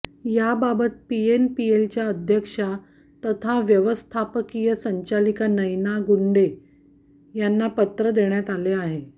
याबाबत पीएमपीएलच्या अध्यक्षा तथा व्यवस्थापकीय संचालिका नयना गुंडे यांना पत्र देण्यात आले आहे